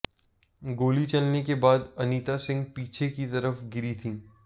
गोली चलने के बाद अनीता सिंह पीछे की तरफ गिरी थीं